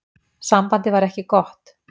Sambandið var ekki gott.